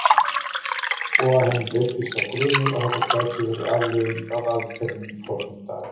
Og að henni læddist sá grunur að þetta gæti verið afleiðing af aðgerðinni forðum daga.